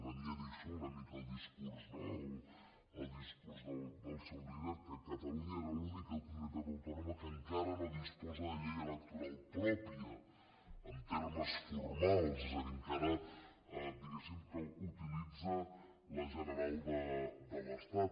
i venia a dir això una mica el discurs no del seu líder que catalunya era l’única comunitat autònoma que encara no disposa de llei electoral pròpia en termes formals és a dir encara diguéssim que utilitza la general de l’estat